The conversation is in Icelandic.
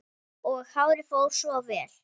Og hárið fór svo vel!